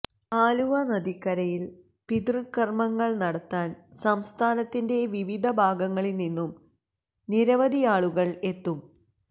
ആലുവ നദിക്കരയില് പിതൃകര്മ്മങ്ങള് നടത്താന് സംസ്ഥാനത്തിന്റെ വിവിധ ഭാഗങ്ങളില് നിന്നും നിരവധിയാളുകള് എത്തും